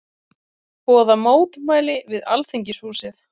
Boða mótmæli við Alþingishúsið